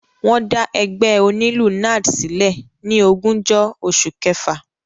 Wọ́n dá ẹgbẹ́ onílù NARD sílẹ̀ ní ogúnjọ́ oṣù kẹfà.